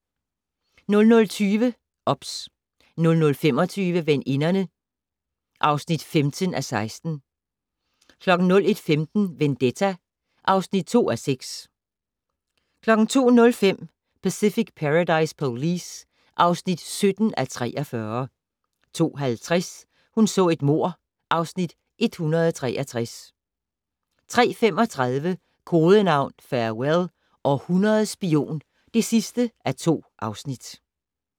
00:20: OBS 00:25: Veninderne (15:16) 01:15: Vendetta (2:6) 02:05: Pacific Paradise Police (17:43) 02:50: Hun så et mord (Afs. 163) 03:35: Kodenavn Farewell - Århundredets spion (2:2)